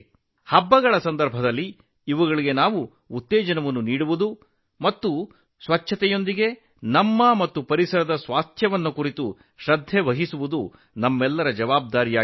ಹಬ್ಬ ಹರಿದಿನಗಳಲ್ಲಿ ಅವುಗಳನ್ನು ಪ್ರೋತ್ಸಾಹಿಸುವುದು ಸ್ವಚ್ಛತೆಯ ಜೊತೆಗೆ ನಮ್ಮ ಆರೋಗ್ಯ ಮತ್ತು ಪರಿಸರದ ಬಗ್ಗೆ ಕಾಳಜಿ ವಹಿಸುವುದು ನಮ್ಮ ಕರ್ತವ್ಯವಾಗಿದೆ